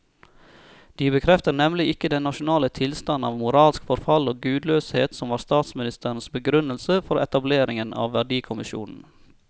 De bekrefter nemlig ikke den nasjonale tilstand av moralsk forfall og gudløshet som var statsministerens begrunnelse for etableringen av verdikommisjonen.